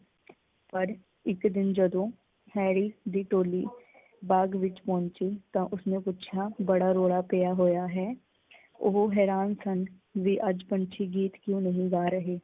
ਪਰ ਇੱਕ ਦਿਨ ਜਦੋਂ ਹੈਰੀ ਦੀ ਟੋਲੀ ਬਾਗ ਵਿੱਚ ਪਹੁੰਚੀ ਤਾਂ ਉਸਨੂੰ ਪੁੱਛਿਆ ਬੜਾ ਰੋਲਾ ਪਿਆ ਹੋਇਆ ਹੈ। ਉਹ ਹੈਰਾਨ ਸਨ ਵੀ ਅੱਜ ਪੰਛੀ ਗੀਤ ਕਿਓ ਨਹੀਂ ਗਾ ਰਹੇ?